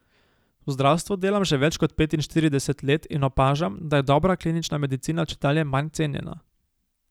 V zdravstvu delam že več kot petinštirideset let in opažam, da je dobra klinična medicina čedalje manj cenjena.